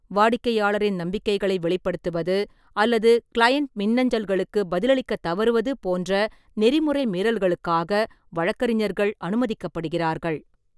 வாடிக்கையாளரின் நம்பிக்கைகளை வெளிப்படுத்துவது அல்லது கிளையன்ட் மின்னஞ்சல்களுக்கு பதிலளிக்கத் தவறுவது போன்ற நெறிமுறை மீறல்களுக்காக வழக்கறிஞர்கள் அனுமதிக்கப்படுகிறார்கள்.